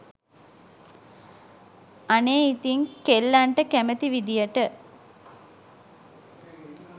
අනේ ඉතින් කෙල්ලන්ට කැමති විදියට